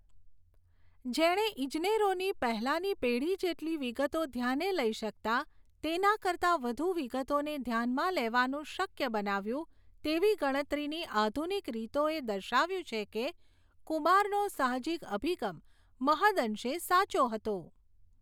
જેણે ઇજનેરોની પહેલાની પેઢી જેટલી વિગતો ધ્યાને લઈ શકતા તેના કરતા વધુ વિગતોને ધ્યાનમાં લેવાનું શક્ય બનાવ્યું તેવી ગણતરીની આધુનિક રીતોએ દર્શાવ્યું છે કે કુમારનો સાહજિક અભિગમ મહદંશે સાચો હતો.